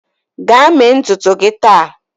Gaa mee ntutu gị taa!